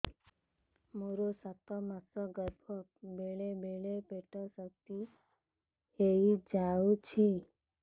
ମୋର ସାତ ମାସ ଗର୍ଭ ବେଳେ ବେଳେ ପେଟ ଶକ୍ତ ହେଇଯାଉଛି